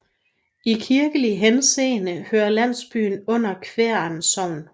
I kirkelig henseende hører landsbyen under Kværn Sogn